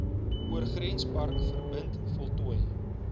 oorgrenspark verbind voltooi